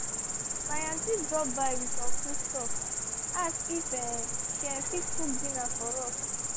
my auntie drop by with some food stuff ask if um she um fit cook dinner for us